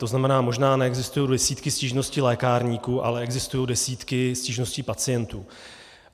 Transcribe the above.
To znamená, možná neexistují desítky stížností lékárníků, ale existují desítky stížností pacientů.